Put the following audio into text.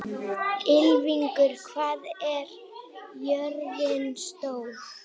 Ylfingur, hvað er jörðin stór?